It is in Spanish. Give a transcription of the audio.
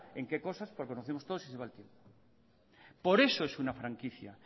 en qué cosas porque conocemos todos y se va el tiempo por eso es una franquicia